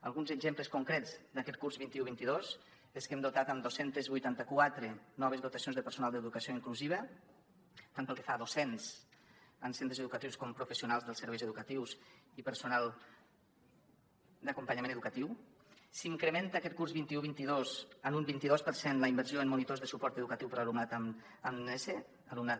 alguns exemples concrets d’aquest curs vint un vint dos són que hem dotat amb dos cents i vuitanta quatre noves dotacions de personal d’educació inclusiva tant pel que fa a docents en centres educatius com professionals dels serveis educatius i personal d’acompanyament educatiu s’incrementa aquest curs vint un vint dos en un vint i dos per cent la inversió en monitors de suport educatiu per a alumnat amb nese alumnat